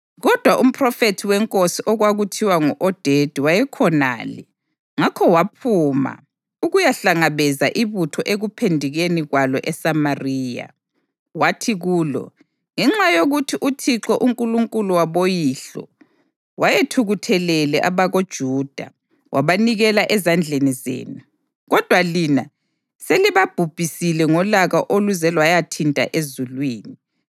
Kodwa umphrofethi wenkosi okwakuthiwa ngu-Odedi wayekhonale, ngakho waphuma ukuyahlangabeza ibutho ekuphendukeni kwalo eSamariya. Wathi kulo, “Ngenxa yokuthi uThixo, uNkulunkulu waboyihlo wayethukuthelele abakoJuda, wabanikela ezandleni zenu. Kodwa lina selibabhubhise ngolaka oluze lwayathinta ezulwini.